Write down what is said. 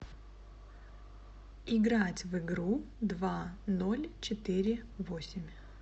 играть в игру два ноль четыре восемь